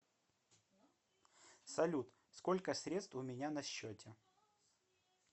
салют сколько средств у меня на счете